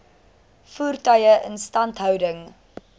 voertuie instandhouding